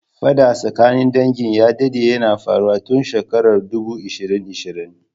Faɗa tsakanin dangin ya dadde yana faruwa tun shekarar dubu ishirin ishirin.